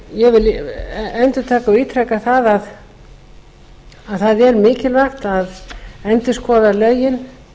ég vil endurtaka og ítreka að það er mikilvægt að endurskoða lögin